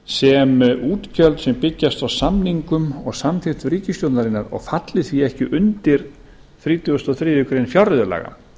sem útgjöld sem byggjast á samningum og samþykkt ríkisstjórnarinnar og falli því ekki undir þrítugasta og þriðju grein fjárreiðulaga